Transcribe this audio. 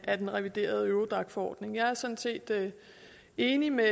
af den reviderede eurodac forordning jeg er sådan set enig med